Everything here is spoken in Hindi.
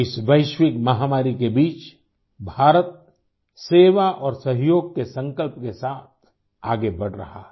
इस वैश्विकमहामारी के बीच भारत सेवा और सहयोग के संकल्प के साथ आगे बढ़ रहा है